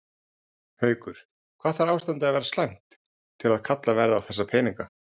Haukur: Hvað þarf ástandið að vera slæmt til að kallað verði á þessa peninga?